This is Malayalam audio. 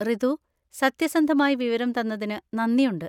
റിതു, സത്യസന്ധമായി വിവരം തന്നതിന് നന്ദിയുണ്ട്.